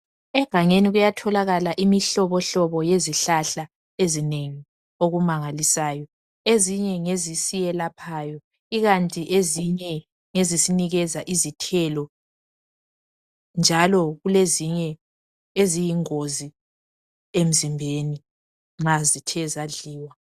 Egangeni kuyatholakala imihlobohlobo yezihlahla ezinengi okumangalisayo, ezinye ngezisiyelaphayo ikanti ezinye ngezisinikeza izithelo njalo kulezinye eziyingozi emzimbeni nxa zithe zadliwa.